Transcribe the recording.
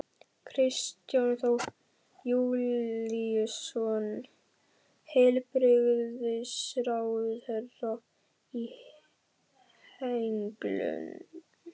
Kristján Þór Júlíusson, heilbrigðisráðherra: Í henglum?